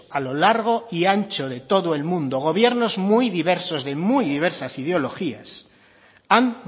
a lo largo y ancho de todo el mundo gobiernos muy diversos de muy diversas ideologías han